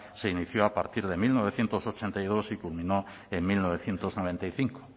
se inició a partir de mil novecientos ochenta y dos y culminó en mil novecientos noventa y cinco